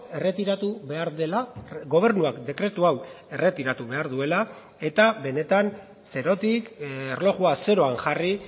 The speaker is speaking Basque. erretiratu behar dela gobernuak dekretu hau erretiratu behar duela eta benetan zerotik erlojua zeroan jarri